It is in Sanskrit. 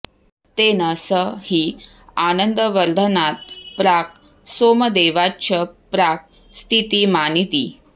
तेन स हि आनन्दवर्धनात् प्राक् सोमदेवाच्च प्राक् स्थितिमानिति